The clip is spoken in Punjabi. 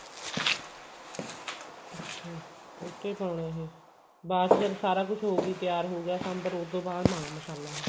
ਅੱਛਿਆ okay ਪਾਉਣਾ ਇਹ ਬਾਅਦ ਜਦੋਂ ਸਾਰਾ ਕੁਛ ਹੋ ਗਈ ਤਿਆਰ ਹੋਗਿਆ ਸਾਂਬਰ ਉਹਤੋਂ ਬਾਅਦ ਪਾਉਣਾ ਮਸਾਲਾ ਇਹ